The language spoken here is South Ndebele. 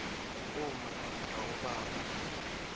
umma namkha ubaba